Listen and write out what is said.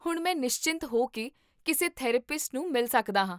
ਹੁਣ ਮੈਂ ਨਿਸ਼ਚਿੰਤ ਹੋ ਕੇ ਕਿਸੇ ਥੈਰੇਪਿਸਟ ਨੂੰ ਮਿਲ ਸਕਦਾ ਹਾਂ